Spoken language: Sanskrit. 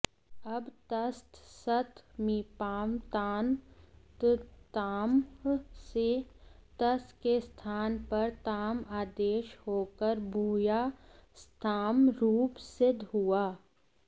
अब तस्थस्थमिपां तान्तन्तामः से तस् के स्थान पर ताम् आदेश होकर भूयास्ताम् रूप सिद्ध हुआ